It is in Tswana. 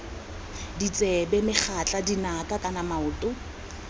ditsebe megatla dinaka kana maoto